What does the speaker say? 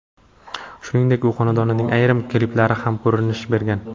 Shuningdek, u xonandaning ayrim kliplarida ham ko‘rinish bergan.